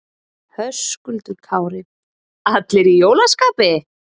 Höskuldur Kári: Allir í jólaskapi?